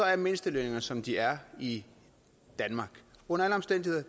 er mindstelønningerne som de er i danmark under alle omstændigheder